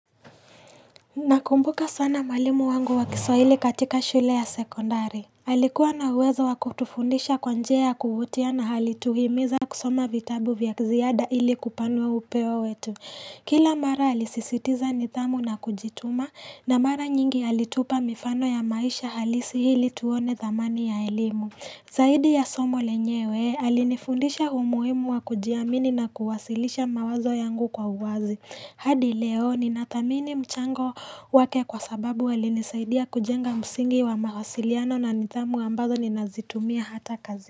Nakumbuka sana mwalimu wangu wa kiswahili katika shule ya sekondari. Alikuwa na uweza wakutufundisha kwa njia ya kuvutia na alituhimiza kusoma vitabu vya ziada ili kupanua upeo wetu. Kila mara alisisitiza nidhamu na kujituma na mara nyingi alitupa mifano ya maisha halisi ili tuone thamani ya elimu. Zaidi ya somo lenyewe, alinifundisha umuhimu wa kujiamini na kuwasilisha mawazo yangu kwa uwazi. Hadi leo ninathamini mchango wake kwa sababu walinisaidia kujenga msingi wa mawasiliano na nidhamu ambazo ninazitumia hata kazi.